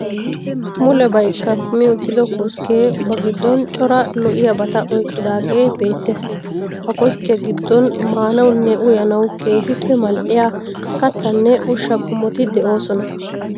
Mulebayi kumi uttido kosikkee ba giddon cora lo'iyabata oyqqidaagee beettees. Ha koskkiya giddon maanawunne uyanawu keehippe mal'iya kattanne ushsha qommoti de'oosona.